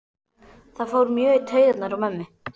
Það fór mjög í taugarnar á mömmu.